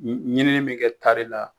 Ɲinɛ in bɛ kɛ tari la